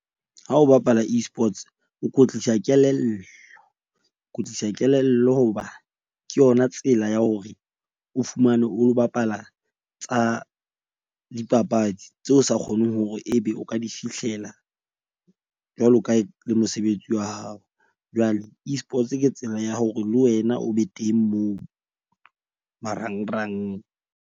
Ha o bapala E-sports, o kwetlisa kelello, kwetlisa kelello hoba ke yona tsela ya hore o fumane o bapala tsa dipapadi tseo o sa kgoneng hore ebe o ka di fihlela. Jwalo ka ha e le mosebetsi wa hao. Jwale Esports ke tsela ya hore le wena o be teng moo marangrang.